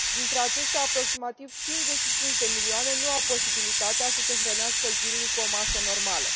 Dintre aceștia, aproximativ 55 de milioane nu au posibilitatea să se hrănească zilnic cu o masă normală.